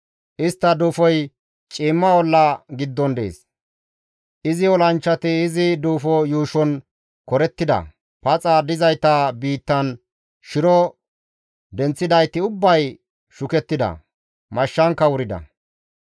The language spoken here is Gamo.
Istta duufoy ciimma olla giddon dees; izi olanchchati izi duufo yuushon korettida; paxa dizayta biittan shiro denththidayti ubbay shukettida; mashshankka wurida.